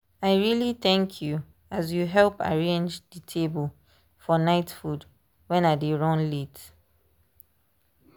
i really thank you as you help arrange dey table for night food when i dey run late.